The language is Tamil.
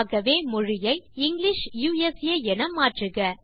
ஆகவே மொழியை இங்கிலிஷ் யுஎஸ்ஏ என மாற்றுக